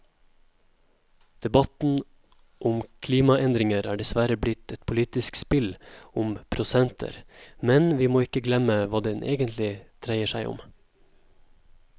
Debatten om klimaendringer er dessverre blitt et politisk spill om prosenter, men vi må ikke glemme hva det egentlig handler om.